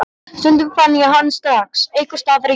Stundum fann ég hann strax einhvers staðar í götunni.